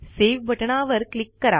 save बटणावर click करा